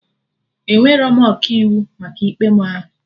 Enwerọ m Ọkaiwu maka ikpe mụ ahụ